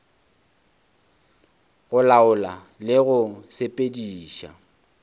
go laola le go sepediša